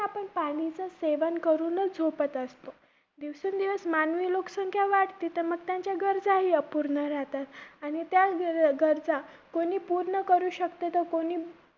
आपण पाणीच सेवन करूनच झोपत असतो. दिवसेंदिवस मानवी लोकसंख्या वाढते, तर मग गरजा हि अपूर्ण राहतात. मग त्याच गरजा कोणी पूर्ण करू शकते, तर कोणी